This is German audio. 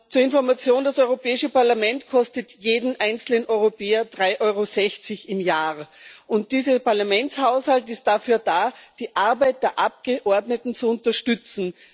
Zur Information Das Europäische Parlament kostet jeden einzelnen Europäer drei Euro sechzig im Jahr, und dieser Parlamentshaushalt ist dafür da, die Arbeit der Abgeordneten zu unterstützen.